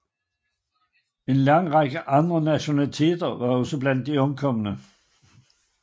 En lang række andre nationaliteter var også blandt de omkomne